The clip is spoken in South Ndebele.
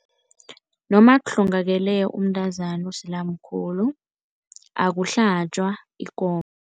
Noma kuhlongakele umntazana osele amkhulu, akuhlatjwa ikomo.